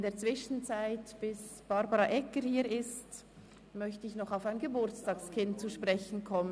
In der Zwischenzeit, bis Frau Regierungsrätin Egger hier ist, möchte ich auf ein Geburtstagskind zu sprechen kommen.